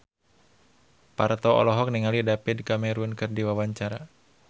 Parto olohok ningali David Cameron keur diwawancara